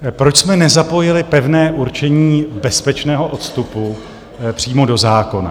Proč jsme nezapojili pevné určení bezpečného odstupu přímo do zákona?